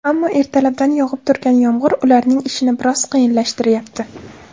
Ammo, ertalabdan yog‘ib turgan yomg‘ir ularning ishini biroz qiyinlashtirayapti.